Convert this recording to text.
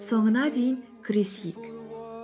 соңына дейін күресейік